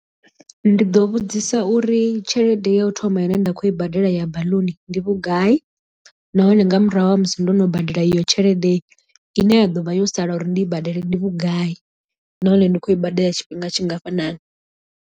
Ndi ḓo vhudzisa uri tshelede ya u thoma ine nda khou i badela ya baḽuni ndi vhugai nahone nga murahu ha musi ndo no badela iyo tshelede i ne ya ḓo vha yo sala uri ndi i badela ndi vhugai nahone ndi khou i badela tshifhinga tshingafhanani.